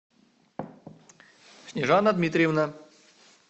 снежана дмитриевна